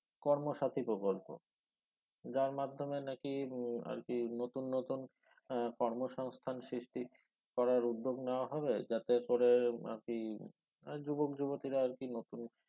কর্ম সাথি প্রকল্প যার মাধ্যমে নাকি উহ আরকি নতুন নতুন এর কর্মসংস্থান সৃষ্টি করার উদ্যোগ নেয়া হবে যাতে করে আরকি আহ যুবক যুবতিরা আরকি নতুন